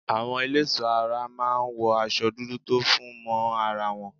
Àwọn ẹlẹ́ẹ̀ṣọ́ ara máa ń wọ aṣo dúdú tó fún mọ́ ara wọn.